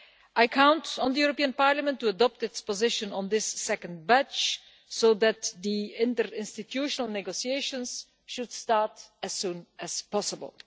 I count on the European Parliament to adopt its position on this second batch so that the interinstitutional negotiations should start as soon as possible.